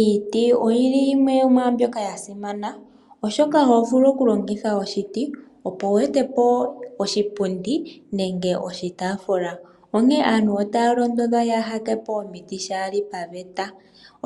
Iiti oyi li yimwe yomwaa mbyoka ya simana, oshoka oho vulu okulongitha oshiti opo wu ete po oshipundi nenge oshitaafula. Aantu otaya londodhwa yaaha tete po omiti shaa li paveta,